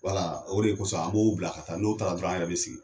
o de kosɔn a b'o bila ka taa, n'o taara dɔrɔn an yɛrɛ be sigi.